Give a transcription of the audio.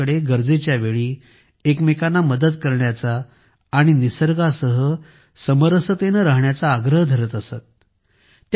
त्या लोकांकडे गरजेच्या वेळी एकमेकांची मदत करण्याचा आणि निसर्गासह समरसतेने राहण्याचा आग्रह धरत असत